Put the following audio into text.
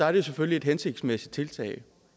er det selvfølgelig et hensigtsmæssigt tiltag